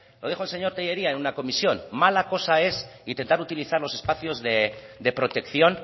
lo dijo el señor tellería en una comisión mala cosa es intentar utilizar los espacios de protección